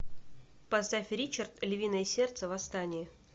поставь ричард львиное сердце восстание